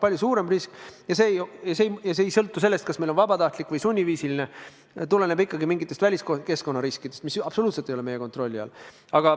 Palju suurem risk ja see ei sõltu sellest, kas meil teine sammas on vabatahtlik või sunniviisiline, tuleneb ikkagi mingitest väliskeskkonna riskidest, mis absoluutselt ei ole meie kontrolli all.